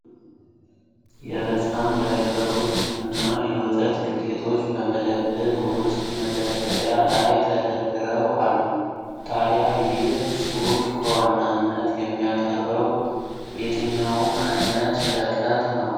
የህጻን ዳይፐሮች እና የወተት ዱቄቶች በመደብር ውስጥ መደርደሪያ ላይ ተደርድረው አሉ። ታዲያ ይህ ሱቅ በዋናነት የሚያቀርበው የትኛውን ዓይነት ሸቀጥ ነው?